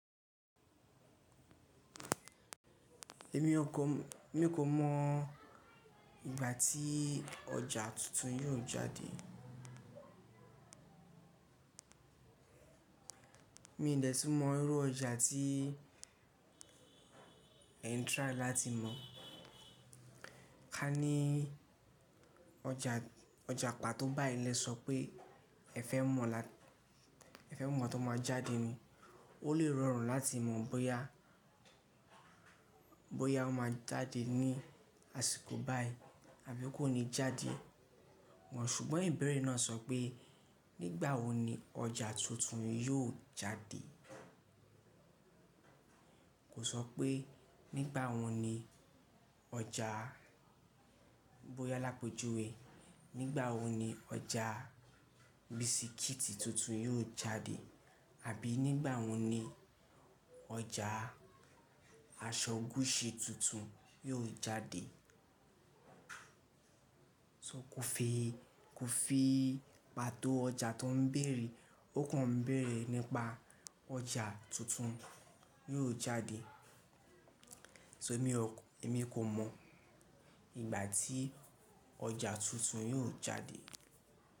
Èmi kò mọ ìgbà tí ọjà tuntun yóò jáde. Mi ò dẹ̀ úní mọ irú ọjà tí e ń trái láti mọ. Ká ní ọjà pàtó báyìí lẹ sọ pé ẹ fẹ́ mọ̀ ẹ̀ fẹ́ mọ láti mọ jáde ni, ó lè rọrùn láti mọ̀ bóyá bóyá ó máa jáde ní àsìkò báyìí àbí kò ní jáde mọ́. Ṣùgbọ́n ìbẹ̀rẹ̀ náà sọ pé nígbàwọ̀ ni ọjà tuntun yóò jáde. Kò sọ pé nígbàwọ̀ ni ọjàa bóyá làpèjúwé, nígbàwọ̀ ni ọjà bisikíìtì tuntun yóò jáde àbí nígbàwọo ni ọjà aṣọ gúṣi tuntun yóò jáde. Kò fi pàtó ọjà tó ń bẹ̀rẹ̀, ó kàn ń bẹ̀rẹ̀ nípa ọjà tuntun yóò jáde. So émi o, émi kò mọ ìgbà tí ọjà tuntun yóò jáde.